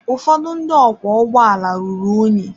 Ụfọdụ ndị ọkwọ ụgbọala ruru unyi.